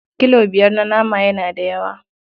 Kilo biyar na nama yana da yawa.